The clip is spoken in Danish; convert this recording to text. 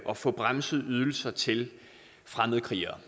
at få bremset ydelser til fremmedkrigere